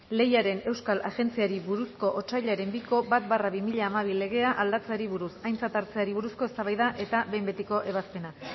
lehiaren euskal agintaritzari buruzko otsailaren biko bat barra bi mila hamabi legea aldatzeari buruz aintzat hartzeari buruzko eztabaida eta behin betiko ebazpena